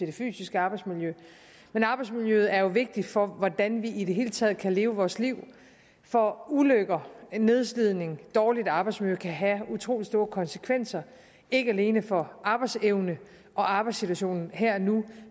det fysiske arbejdsmiljø arbejdsmiljøet er jo vigtigt for hvordan vi i det hele taget kan leve vores liv for ulykker nedslidning dårligt arbejdsmiljø kan have utrolig store konsekvenser ikke alene for arbejdsevne og arbejdssituation her og nu